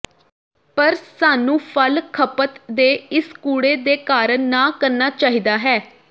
ਪਰ ਸਾਨੂੰ ਫਲ ਖਪਤ ਦੇ ਇਸ ਕੂੜੇ ਦੇ ਕਾਰਨ ਨਾ ਕਰਨਾ ਚਾਹੀਦਾ ਹੈ